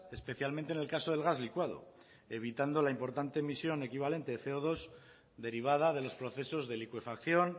especialmente en el caso del gas licuado evitando la importante emisión equivalente de ce o dos derivada de los procesos de licuefacción